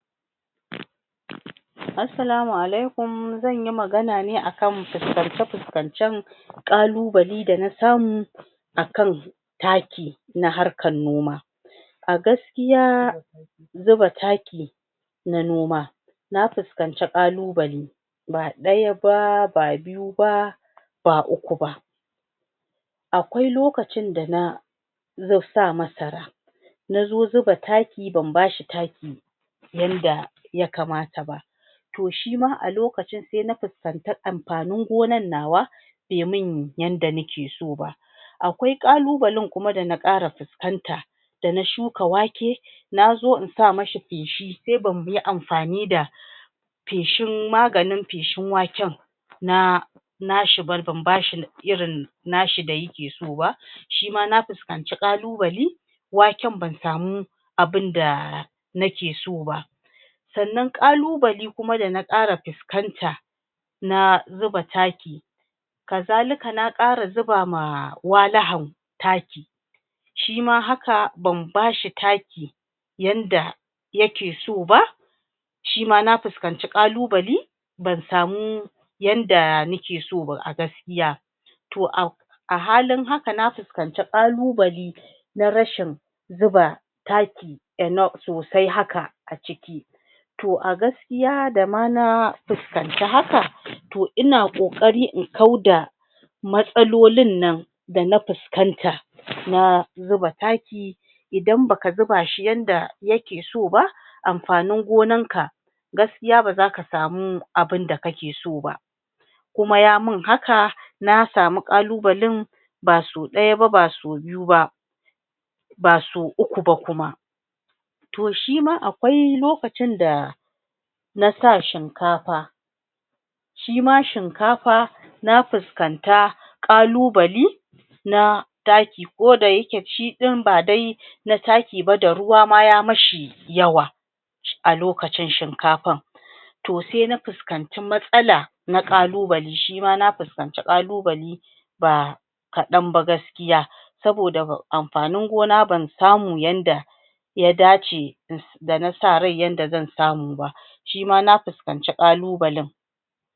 assalamu alaikum zanyi magana ne a kan fuskance fuskancen ƙaluɓale dana samu akan taki a harkan noma a gaskiya zuba taki na noma na fuskanci ƙaluɓale ba ɗaya ba ba biyu ba ba uku ba, akwai lokacin da na zo sa masara nazo zuba taki ban bashi taki yanda yakamata ba to shima a lokacin sai na fuskanci anfanin gonan nawa bai mun yanda nake so ba akwai ƙalubalin kuma dana ƙara fuskanta dana shuka wake nazo in samishi feshi sai bamuyi anfani da feshin maganin feshin waken na na shi ba ban bashi irin na shi da yake so ba shima na fuskanci ƙaluɓale waken ban samu abunda nake so ba sannan ƙaluɓali kuma dana ƙara fuskanta na zuba taki kazalika na ƙara zuba ma walihan taki shima hanka ban bashi taki yanda yake so ba shima na fuskanci ƙalubali ban samu yanda nake so ba a gaskiya a halin haka na fus kanci ƙalubali na rashin zuba taki enough sosai haka aciki toh a gaskiya da ma na fuskanci haka toh ina ƙoƙari in kauda matsalolin nan dana fuskan ta na zuba taki idan baka zuba shi yanda yake soba anfanin gonan ka gaskiya bazaka samu abun da kake so ba kuma yamun haka na samu ƙalubalin baso ɗaya ba ba so biyu ba ba so uku ba kuma troh shima akwai lokacin da nasa shinkafa shima shinkafa na fuskanta kalubali na taki koda yake shiɗin ba dai na takiba da ruwa ma yamaishi yawa alokacin shikafan to sai na fuskanci matsala na kalubali shima na fuskanci ƙalubali ba kaɗan ba gaskiya saboda anfanin gona ban samu yanda ya dace in da nasa rai yadda zan samuba shima na fuskanci ƙalubalin.